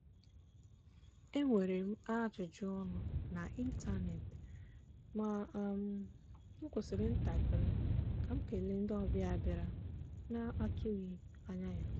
enwere m ajụjụ ọnụ n’ịntanetị ma m kwụsịrị ntakịrị ka m kele ndị ọbịa bịara na-atụghị anya ya.